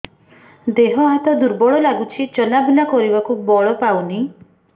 ଦେହ ହାତ ଦୁର୍ବଳ ଲାଗୁଛି ଚଲାବୁଲା କରିବାକୁ ବଳ ପାଉନି